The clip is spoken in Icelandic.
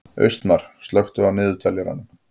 Austmar, slökktu á niðurteljaranum.